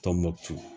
Tɔnbukutu